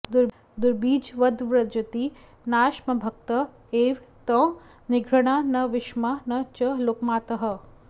दुर्बीजवद्व्रजति नाशमभक्त एव त्वं निर्घृणा न विषमा न च लोकमातः